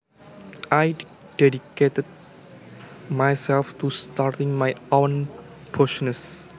I dedicated myself to starting my own business